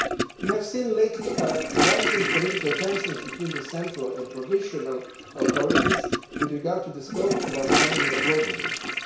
We have recently seen rising political tensions between the central and provisional authorities with regard to the scope of the autonomy of Vojvodina.